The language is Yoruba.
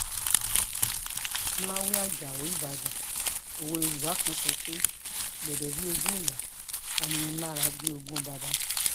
ọ̀làwé ajáò ìbàdàn òwe yorùbá kan tó sọ pé gbédè bíi ogún ìyá aninilára bíi ogún bàbà